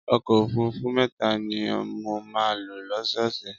Ọkọ̀ òfuurufú mẹ́ta ni mo máa ń lò lọ́sọ́ọ̀ọ̀sẹ̀.